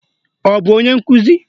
Ọ bụ onye nkuzi?